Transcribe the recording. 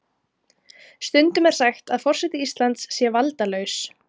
Stundum er sagt að forseti Íslands sé valdalaus.